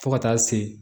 Fo ka taa se